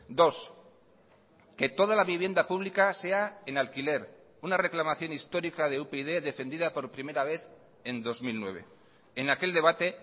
dos que toda la vivienda pública sea en alquiler una reclamación histórica de upyd defendida por primera vez en dos mil nueve en aquel debate